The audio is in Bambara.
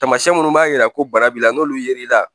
Taamasiyɛn minnu b'a jira ko bana b'i la n'olu yer'i la